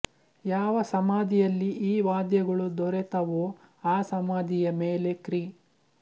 ಯಾವ ಸಮಾಧಿಯಲ್ಲಿ ಈ ವಾದ್ಯಗಳು ದೊರೆತವೋ ಆ ಸಮಾಧಿಯ ಮೇಲೆ ಕ್ರಿ